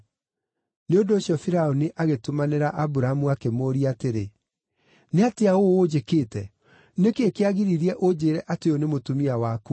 Nĩ ũndũ ũcio Firaũni agĩtũmanĩra Aburamu akĩmũũria atĩrĩ, “Nĩ atĩa ũũ ũnjĩkĩte? Nĩ kĩĩ kĩagiririe ũnjĩĩre atĩ ũyũ nĩ mũtumia waku?